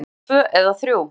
Stundum tvö eða þrjú.